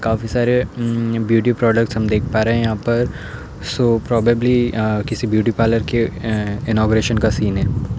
काफी सारे म म ब्यूटी प्रोडक्ट्स हम देख पा रहे हैं यहाँं पर सो प्रोबेबली किसी ब्यूटी पार्लर के इनॉगरेशन का सीन है।